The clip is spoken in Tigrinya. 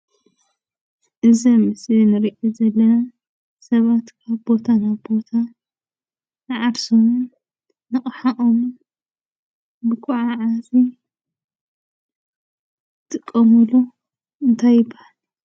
እዚ ኣብ ምስሊ እንረእዮ ዘለና ሰባት ካብ ቦታ ናብ ቦታ ንዓርሶምን ንኣቅሖምን መጓዓዓዚ ዝጥቀመሉ እንታይ ይባሃል?